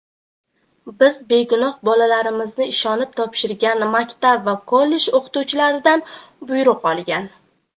biz begunoh bolalarimizni ishonib topshirgan maktab va kollej o‘qituvchilaridan buyruq olgan.